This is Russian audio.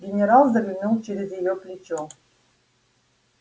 генерал заглянул через её плечо